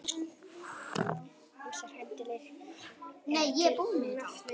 Ýmsar heimildir eru til um nafnið Guttorm.